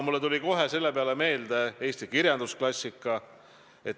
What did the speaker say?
Mulle tuli selle peale kohe meelde Eesti kirjandusklassika.